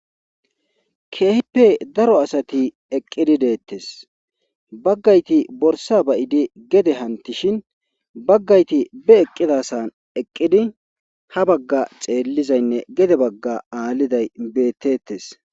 Keehippe daro asati eqqidi deettes; baggayti borsa bayidi gede hantishin; baggayti be eqqidasan eqqidi ha bagga xeellizaynne gede bagga aalliday beettettes.